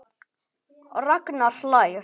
Ragnar hlær.